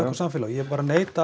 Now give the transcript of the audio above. samfélagi ég neita